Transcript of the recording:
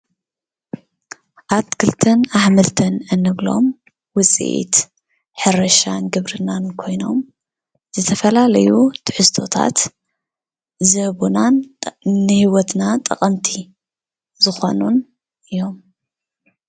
ኣትኽልትን ኣሕምልትን እንብሎም ውፅኢት ሕርሻን ግብርናን ኮይኖም ዝተፈላለዩ ትሕዝቶታት ዝህቡናን ንህይወትና ጠቐምቲ ዝኾኑን እዮም፡፡